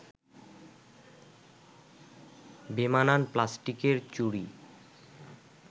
বেমানান প্লাস্টিকের চুড়ি